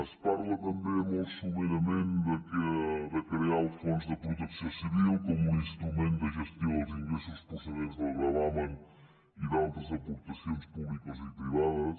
es parla també molt resumidament de crear el fons de protecció civil com un instrument de gestió els ingressos procedents del gravamen i d’altres aportacions públiques i privades